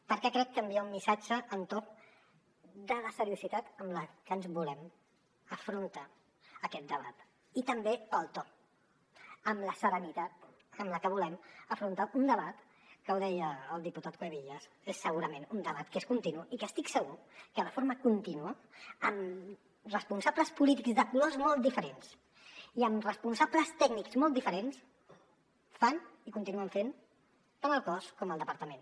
perquè crec que envia un missatge amb tot de la seriositat amb la que ens volem afrontar a aquest debat i també pel to amb la serenitat amb la que volem afrontar un debat que ho deia el diputat cuevillas és segurament un debat que és continu i que estic segur que de forma contínua amb responsables polítics de colors molt diferents i amb responsables tècnics molt diferents fan i continuen fent tant al cos com al departament